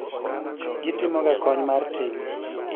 gitimoga kony mar ting'